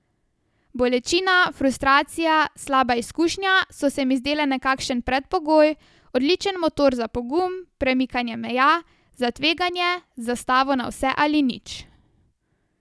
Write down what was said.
Bolečina, frustracija, slaba izkušnja so se mi zdele nekakšen predpogoj, odličen motor za pogum, premikanje meja, za tveganje, za stavo na vse ali nič ...